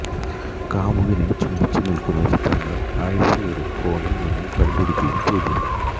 കാമുകനെ ചുംബിച്ച് നിൽക്കുന്ന ചിത്രങ്ങൾ അയ്ഷെയുടെ ഫോണിൽ നിന്നും കണ്ടെടുക്കുകയും ചെയ്തിരുന്നു